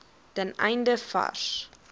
ten einde vars